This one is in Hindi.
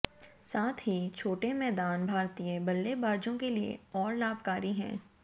साथ ही छोटे मैदान भारतीय बल्लेबाजों के लिए और लाभकारी हैं